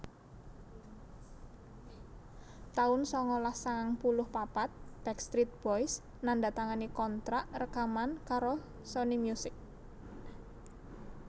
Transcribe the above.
taun sangalas sangang puluh papat Backstreet Boys nandatangani kontrak rekaman karo Sony Music